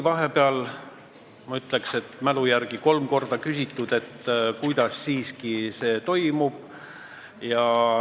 Vahepeal, ma ütlen mälu järgi, küsiti kolm korda, kuidas see siiski toimub.